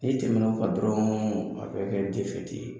N'i tɛmɛna o kan dɔrɔn a bɛ kɛ ye.